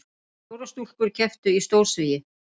Fjórar stúlkur kepptu í stórsvigi